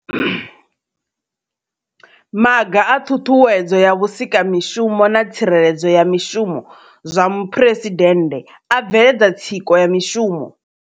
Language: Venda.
Maga a ṱhuṱhuwedzo ya vhusikamishumo na tsireledzo ya mishumo zwa muphuresidennde a bveledza tsiko ya mishumo.